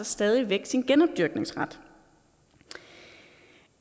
stadig væk sin genopdyrkningsret